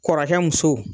Kɔrɔkɛ musow